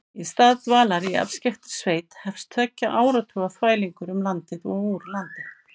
Í stað dvalar í afskekktri sveit hefst tveggja áratuga þvælingur um landið og úr landi.